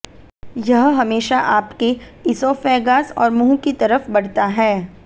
यह हमेशा आपके इसोफेगास और मुंह की तरफ बढ़ता है